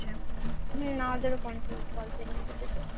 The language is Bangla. হম আমাদেরও পঞ্চাশ pol science কেটেছে